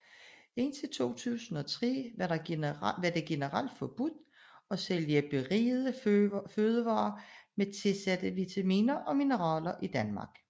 Indtil 2003 var det generelt forbudt at sælge berigede fødevarer med tilsatte vitaminer og mineraler i Danmark